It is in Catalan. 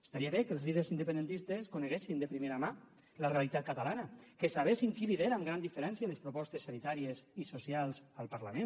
estaria bé que els líders independentistes coneguessin de primera mà la realitat catalana que sabessin qui lidera amb gran diferència les propostes sanitàries i socials al parlament